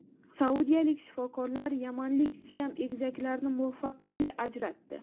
Saudiyalik shifokorlar yamanlik Siam egizaklarini muvaffaqiyatli ajratdi.